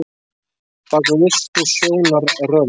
Bak við ystu sjónarrönd